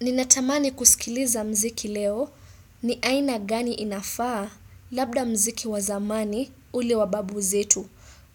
Ninatamani kusikiliza mziki leo ni aina gani inafaa? Labda mziki wa zamani ule wa babu zetu.